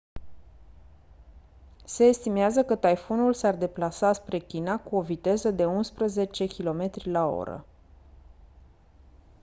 se estimează că taifunul s-ar deplasa spre china cu o viteză de unsprezece km/h